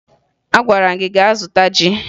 Agwara m gị gaa zụta ji!